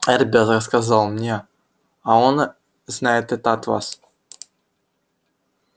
эрби рассказал мне а он знает это от вас